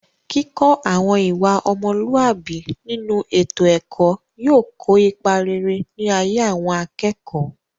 kíkọ́ àwọn ìwà ọmọlúàbí nínú ètò ẹ̀kọ́ yóò kó ipa rere ní ayé àwọn akẹ́kọ̀ọ́